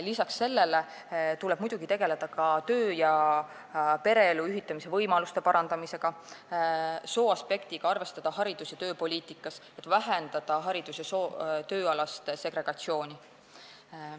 Lisaks sellele tuleb muidugi tegeleda ka töö- ja pereelu ühitamise võimaluste parandamisega ning sooaspekte tuleb arvestada haridus- ja tööpoliitikas, et vähendada haridus- ja tööalast segregatsiooni.